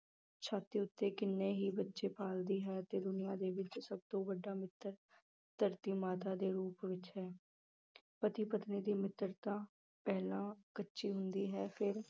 ਛਾਤੀ ਉੱਤੇ ਕਿੰਨੇ ਹੀ ਬੱਚੇ ਪਾਲਦੀ ਹੈ ਤੇ ਦੁਨੀਆਂ ਦੇ ਵਿੱਚ ਸਭ ਤੋਂ ਵੱਡਾ ਮਿੱਤਰ ਧਰਤੀ ਮਾਤਾ ਦੇ ਰੂਪ ਵਿੱਚ ਹੈ ਪਤੀ ਪਤਨੀ ਦੀ ਮਿੱਤਰਤਾ ਪਹਿਲਾਂ ਕੱਚੀ ਹੁੰਦੀ ਹੈ ਫਿਰ